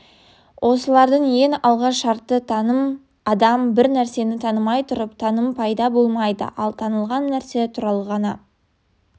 осылардың ең алғы шарты таным адам бір нәрсені танымай тұрып таным пайда болмайды ал танылған нәрсе туралы ғана